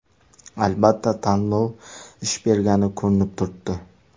Albatta, tanlov ish bergani ko‘rinib turibdi.